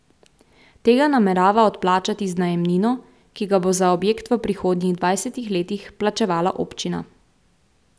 Tega namerava odplačati z najemnino, ki ga bo za objekt v prihodnjih dvajsetih letih plačevala občina.